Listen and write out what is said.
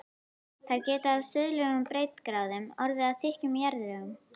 Þær geta á suðlægum breiddargráðum orðið að þykkum jarðlögum.